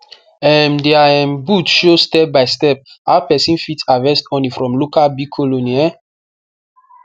um dia um booth show stepbystep how pesin fit harvest honey from local bee colony um